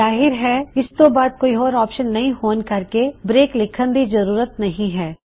ਜਾਹਿਰ ਹੈ ਇਸ ਤੋ ਬਾਦ ਹੋਰ ਕੋਈ ਔਪਸ਼ਨ ਨਹੀਂ ਹੋਣ ਕਰਕੇ ਬ੍ਰੇਕ ਲਿੱਖਨ ਦੀ ਜ਼ਰੂਰਤ ਨਹੀ ਹੈ